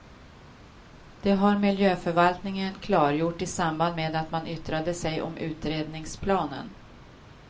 Det har miljöförvaltningen klargjort i samband med att man yttrade sig om utredningsplanen.